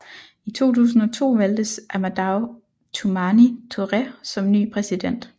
I 2002 valgtes Amadou Toumani Touré som ny præsident